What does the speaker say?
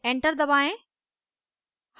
enter दबाएं